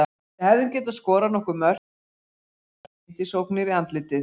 Við hefðum getað skorað nokkur mörk en í staðinn fengum við skyndisóknir í andlitið.